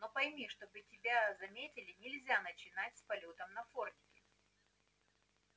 но пойми чтобы тебя заметили нельзя начинать с полётов на фордике